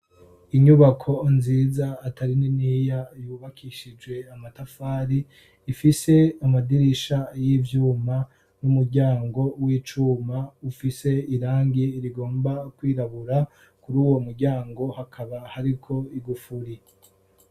Inyubako nziza atari niniya yubakishije amatafari, ifise amadirisha y'ivyuma n'umuryango w'icuma ufise irangi rigomba kwirabura, kuri uwo muryango hakaba hariko igufuri.